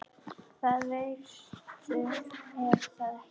Það veistu er það ekki?